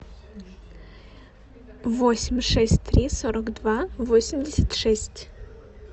восемь шесть три сорок два восемьдесят шесть